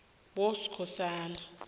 boskhosana